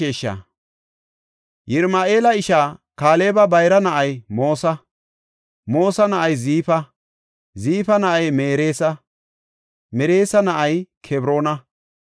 Yirama7eela ishaa Kaaleba bayra na7ay Moosa. Moosa na7ay Ziifa; Ziifa na7ay Mereesa; Mereesa na7ay Kebroona.